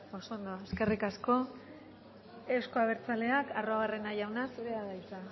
oso ondo eskerrik asko euzko abertzaleak arruabarrena jauna zurea da hitza